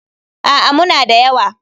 A'a, muna da yawa.